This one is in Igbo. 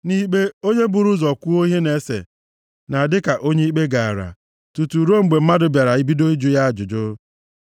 Nʼikpe onye buru ụzọ kwuo ihe na-ese na-adị ka onye ikpe gaara, tutu ruo mgbe mmadụ bịara bido ịjụ ya ajụjụ.